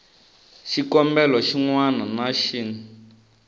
xikombelo xin wana na xin